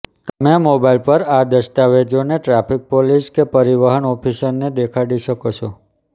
તમે મોબાઇલ પર આ દસ્તાવેજોને ટ્રાફિક પોલીસ કે પરિવહન ઑફિસરને દેખાડી શકો છો